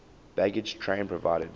baggage train provided